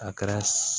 A kɛra